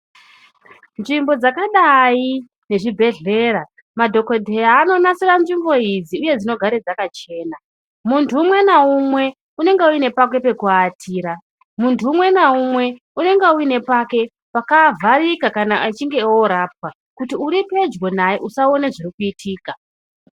Nzvimbo dzakadai ne zvibhedhlera madhokodheya ano nasira nzvimbo idzi uye dzino gare dzaka chena muntu umwe na umwe unonge une pake peku atira muntu umwe na umwe unonga une pake paka vharika kana achinge orapwa kuti uri pedyo naye usa one zviri kuitika.